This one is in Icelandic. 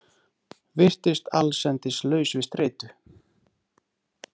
Virtist allsendis laus við streitu.